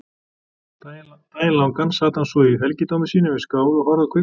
Daginn langan sat hann svo í helgidómi sínum við skál og horfði á kvikmyndir.